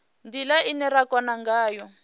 ndila ine ra kona ngayo